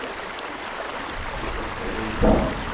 Christoffer Reitan